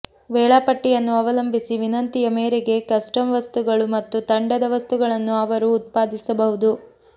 ವೇಳಾಪಟ್ಟಿಯನ್ನು ಅವಲಂಬಿಸಿ ವಿನಂತಿಯ ಮೇರೆಗೆ ಕಸ್ಟಮ್ ವಸ್ತುಗಳು ಮತ್ತು ತಂಡದ ವಸ್ತುಗಳನ್ನು ಅವರು ಉತ್ಪಾದಿಸಬಹುದು